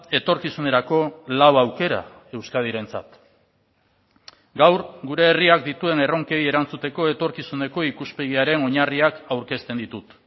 etorkizunerako lau aukera euskadirentzat gaur gure herriak dituen erronkei erantzuteko etorkizuneko ikuspegiaren oinarriak aurkezten ditut